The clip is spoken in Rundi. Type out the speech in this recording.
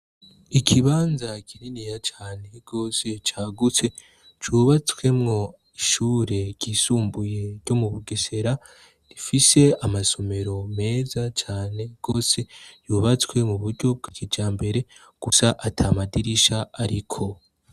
Ikibanza kinini ya cane rose cagutse cubatswemwo ishure ryisumbuye ryo mu bugesera rifise amasomero meza cane wose yubatswe mu buryo bwikija mbere gusa ata madirisha, ariko.